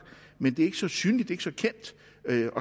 men det ikke så synligt ikke så kendt